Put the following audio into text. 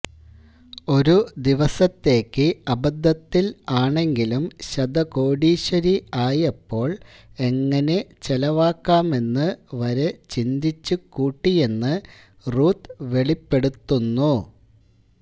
ഒരു ദിവസത്തേക്ക് അബദ്ധത്തില് ആണെങ്കിലും ശതകോടീശ്വരി ആയപ്പോള് എങ്ങിനെ ചെലവാക്കാമെന്ന് വരെ ചിന്തിച്ച് കൂട്ടിയെന്ന് റൂത്ത് വെളിപ്പെടുത്തുന്നു